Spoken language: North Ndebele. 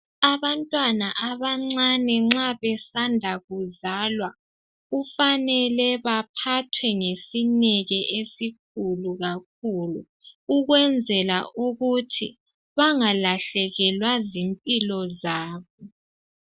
Abantwana abancane nxa besanda kuzalwa kufanele baphathwe ngesineke esikhulu kakhulu, ukwenzela ukuthi bangalahlekelwa zimpilo zabo.